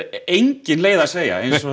engin leið að segja það